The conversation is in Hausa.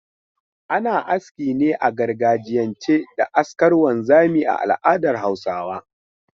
Ana aski ne a gargajiyance da askar wanzamai a al'adar Hausawa.